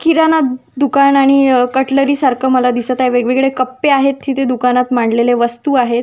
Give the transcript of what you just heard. किराणा दुकान आणि कटरली सारख दिसत आहे वेगवेगळे कप्पे आहेत. तेथे दुकानात मांडलेल्या वस्तु आहे.